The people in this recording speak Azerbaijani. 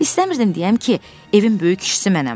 İstəmirdim deyəm ki, evin böyük kişisi mənəm.